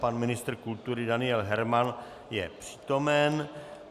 Pan ministr kultury Daniel Herman je přítomen.